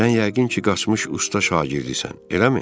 Sən yəqin ki, qaçmış usta şagirdisən, eləmi?